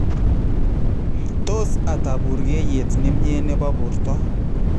Tos ata buurkeyeet nemye nebo borto?